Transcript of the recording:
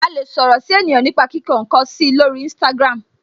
A lè sọ̀rọ̀ si ènìyàn nipa kíkọ nkan si lori instagram.